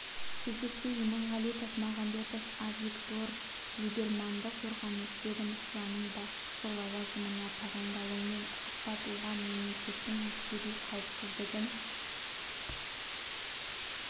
кезекте иманғали тасмағамбетов авигдор либерманды қорғаныс ведомствосының басшысы лауазымына тағайындалуымен құттықтап оған мемлекеттің әскери қауіпсіздігін